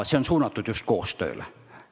See on suunatud just koostööle.